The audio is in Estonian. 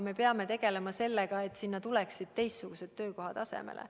Me peame tegelema sellega, et sinna tuleksid teistsugused töökohad asemele.